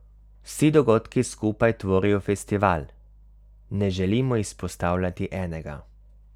Vsi dogodki skupaj tvorijo festival, ne želimo izpostavljati enega.